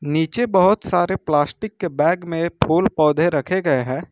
नीचे बहोत सारे प्लास्टिक के बैग में फूल पौधे रखे गए हैं।